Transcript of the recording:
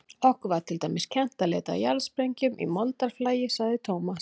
Okkur var til dæmis kennt að leita að jarðsprengjum í moldarflagi, sagði Thomas.